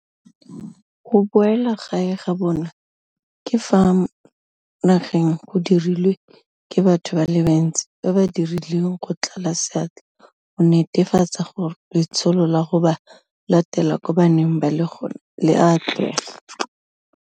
Go boeleng gae ga bona ka fa nageng go dirilwe ke batho ba le bantsi ba ba dirileng go tlala seatla go netefatsa gore letsholo la go ba latela ko ba neng ba le gona le a atlega.